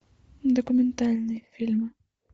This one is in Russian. документальные фильмы